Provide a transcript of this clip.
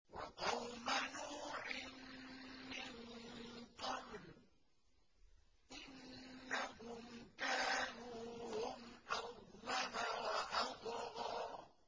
وَقَوْمَ نُوحٍ مِّن قَبْلُ ۖ إِنَّهُمْ كَانُوا هُمْ أَظْلَمَ وَأَطْغَىٰ